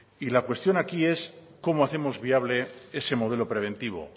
y la cuestión aquí es cómo hacemos viable ese modelo preventivo